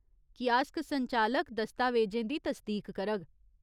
Kiosk संचालक दस्तावेजें दी तसदीक करग।